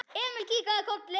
Emil kinkaði kolli.